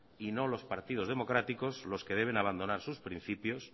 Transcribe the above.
y no los partidos democráticos los que deben de abandonar sus principios